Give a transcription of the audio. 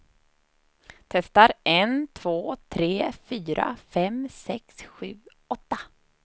Testar en två tre fyra fem sex sju åtta.